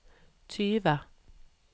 tyve